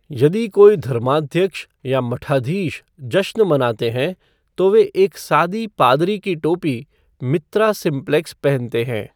यदि कोई धर्माध्यक्ष या मठाधीश जश्न मनाते हैं, तो वे एक सादी पादरी की टोपी, मित्रा सिंप्लेक्स पहनते हैं।